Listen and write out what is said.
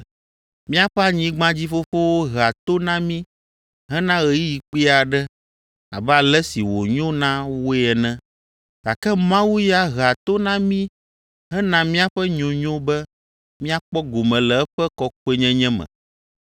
Míaƒe anyigbadzifofowo hea to na mí hena ɣeyiɣi kpui aɖe abe ale si wònyo na woe ene, gake Mawu ya hea to na mí hena míaƒe nyonyo be míakpɔ gome le eƒe kɔkɔenyenye me.